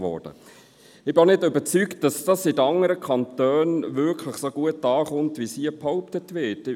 Ich bin auch nicht davon überzeugt, dass dies in den anderen Kantonen wirklich so gut ankommt, wie hier behauptet wird.